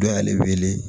Dɔ y'ale wele